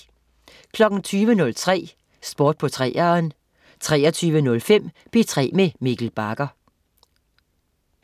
20.03 Sport på 3'eren 23.05 P3 med Mikkel Bagger